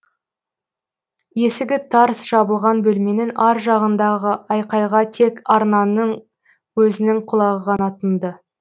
есігі тарс жабылған бөлменің ар жағындағы айқайға тек арнаның өзінің құлағы ғана тұнды